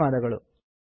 ಧನ್ಯವಾದಗಳು